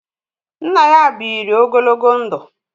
Nna ya bịịri ogologo ndụ.